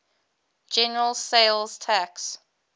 general sales tax